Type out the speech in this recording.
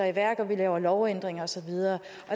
i værk og laver lovændringer og så videre